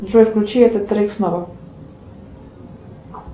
джой включи этот трек снова